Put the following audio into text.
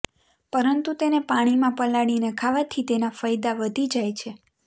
પરંતુ તેને પાણીમાં પલાળીને ખાવાથી તેના ફયદા વધી જાય છે